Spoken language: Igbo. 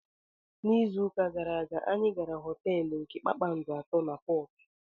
N'izu ụka gara aga, anyị gara họteelu nke kpakpando atọ na Portu.